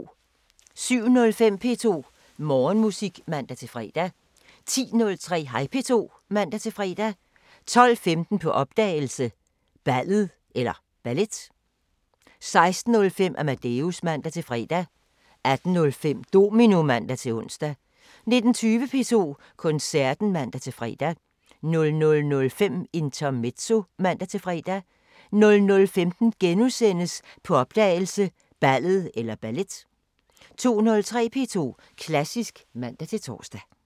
07:05: P2 Morgenmusik (man-fre) 10:03: Hej P2 (man-fre) 12:15: På opdagelse – Ballet 16:05: Amadeus (man-fre) 18:05: Domino (man-ons) 19:20: P2 Koncerten (man-fre) 00:05: Intermezzo (man-fre) 00:15: På opdagelse – Ballet * 02:03: P2 Klassisk (man-tor)